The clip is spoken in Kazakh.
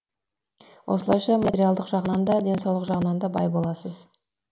осылайша материялдық жағынан да денсаулық жағынан да бай боласыз